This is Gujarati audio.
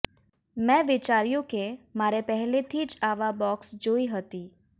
મેં વિચાર્યું કે મારે પહેલેથી જ આવા બોક્સ જોઇ હતી